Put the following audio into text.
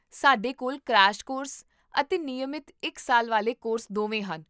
ਸਾਡੇ ਕੋਲ crash course ਅਤੇ ਨਿਯਮਤ ਇੱਕ ਸਾਲ ਵਾਲੇ ਕੋਰਸ ਦੋਵੇਂ ਹਨ